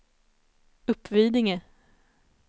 Uppvidinge